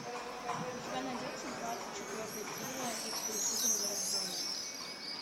у тебя найдется двадцать четвертая серия их перепутали в роддоме